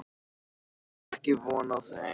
Hún átti ekki von á þeim.